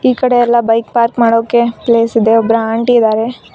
ಈ ಕಡೆ ಎಲ್ಲ ಬೈಕ್ ಪಾರ್ಕ್ ಮಾಡೋಕೆ ಪ್ಲೇಸ್ ಇದೆ ಒಬ್ರು ಆಂಟಿ ಇದಾರೆ.